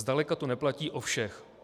Zdaleka to neplatí o všech.